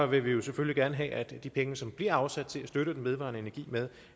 vil vi jo selvfølgelig gerne have at de penge som bliver afsat til at støtte den vedvarende energi med